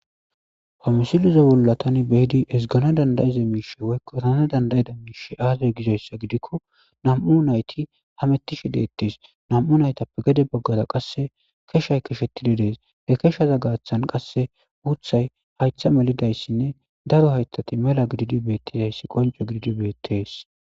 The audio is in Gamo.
Ha misilizawullatani beidi esgana dandayiza miishe woykko rana dandayida miishe aazay gizayssa gidikko nam'u nayti hamettishi deettes nam'u naytappe gede boggaza qasse keshay keshettididees he keshaza gaathan qasse wuthay haytha melidayssinne daro haytati mela gididi beettizayssi qonco gididi beettees.